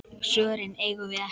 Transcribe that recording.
Svörin eigum við ekki.